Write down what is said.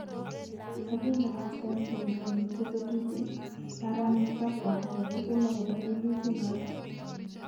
Kakiparasten kele mamiten ketutik aran matakwa agetukul agopa weluti naton